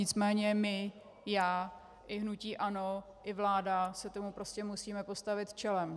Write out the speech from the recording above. Nicméně my, já i hnutí ANO i vláda, se tomu prostě musíme postavit čelem.